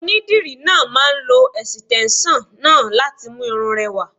Onídìrí náà máà ń lo ẹ̀sìtẹ́nson náà láti mú irun rẹ rẹwà.